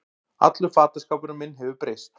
Allur fataskápurinn minn hefur breyst